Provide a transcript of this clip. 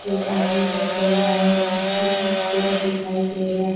एक आदमी सब चल रहा हैं जिसमे खूबसूरत दिखाई दे रहा --